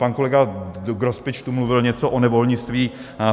Pan kolega Grospič tu mluvil něco o nevolnictví.